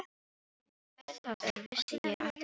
Hver það var vissi ég aftur á móti ekki.